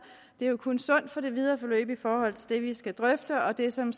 det er jo kun sundt for det videre forløb i forhold til det vi skal drøfte og det som